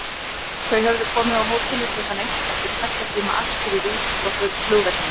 Þau höfðu komið á hótelið klukkan eitt eftir tveggja tíma akstur í rútu frá flugvellinum.